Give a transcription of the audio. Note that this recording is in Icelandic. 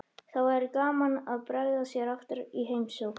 Þá væri gaman að bregða sér aftur í heimsókn.